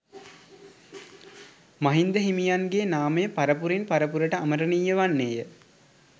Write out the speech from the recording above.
මහින්ද හිමියන්ගේ නාමය, පරපුරෙන් පරපුරටම අමරණීය වන්නේය.